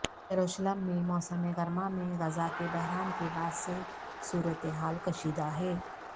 یروشلم میں موسم گرما میں غزہ کے بحران کے بعد سے صورتحال کشیدہ ہے